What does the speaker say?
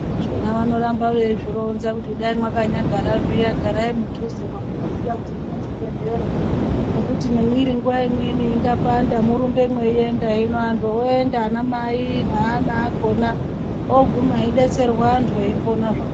Zvona vanoramba veizvironza kuti kudai mwakanyagara zviya garai mudhuze mwamunoziye kuti munezvibhehleya ngekuti nemwiri nguwa imweni ingapanda murumbe mweienda hino anhu oenda anamai neana akona oguma eidetserwa antu eiponazvayo.